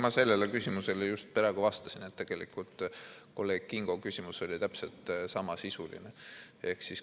Ma sellele küsimusele just praegu vastasin, kolleeg Kingo küsimus oli täpselt samasisuline.